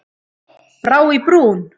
Brá í brún